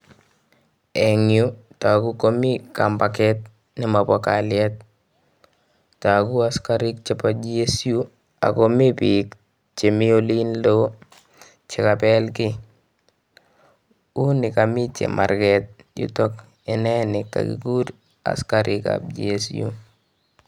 Eng yuu kotokuu komii kambaket nemobo kalyet, tokuu asikarik chebo GSU ak komii biik chemii oliin loo chekabel kii, unekomii chemarket olitok inenii kokikur asikarikab GSU.